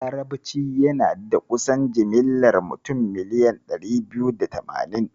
Larabci yana da kusan jimlar mutum miliyan ɗari biyu da tamanin.